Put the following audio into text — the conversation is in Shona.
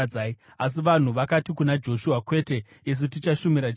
Asi vanhu vakati kuna Joshua, “Kwete! Isu tichashumira Jehovha.”